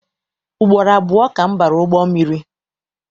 Ugboro abụọ ka m bara ụgbọ mmiri.